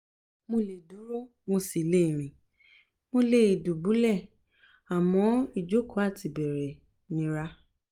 mo lè dúró mo sì le rìn mo lè dùbúlẹ̀ àmọ́ ìjókòó àti ìbẹ̀rẹ̀ nira